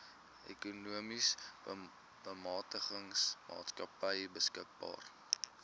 ekonomiese bemagtigingsmaatskappy beskikbaar